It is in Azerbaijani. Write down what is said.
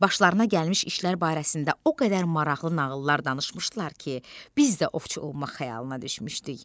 Başlarına gəlmiş işlər barəsində o qədər maraqlı nağıllar danışmışdılar ki, biz də ovçu olmaq xəyalına düşmüşdük.